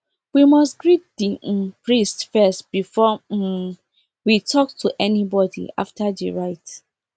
we must greet the um priest first before um we talk to anybody after the rite